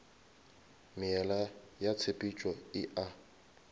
meela ya tshepetšo e a